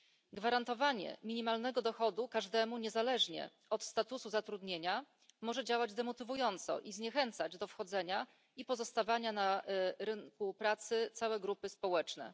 Zagwarantowanie minimalnego dochodu każdemu niezależnie od statusu zatrudnienia może działać demotywująco i zniechęcać do wchodzenia i pozostawania na rynku pracy całe grupy społeczne.